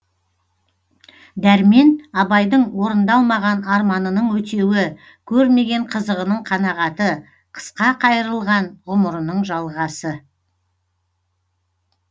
дәрмен абайдың орындалмаған арманының өтеуі көрмеген қызығының қанағаты қысқа қайырылған ғұмырының жалғасы